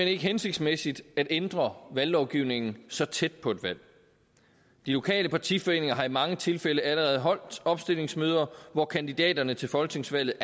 ikke hensigtsmæssigt at ændre valglovgivningen så tæt på et valg de lokale partiforeninger har i mange tilfælde allerede holdt opstillingsmøder hvor kandidaterne til folketingsvalget